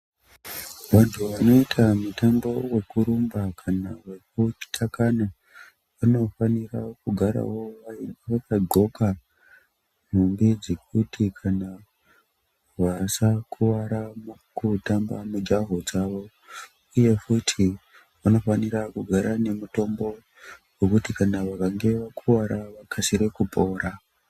Vantu vanoita mutambo wokurumba kana wekutakana, vanofanira kugarawo vaine vakadxoka, nhumbi dzekuti kana vasakuwara mukutamba mijaho dzavo, uye futi, vanofanira kugara nemutombo wokuti kana vakange vakuwara vakasire kupora.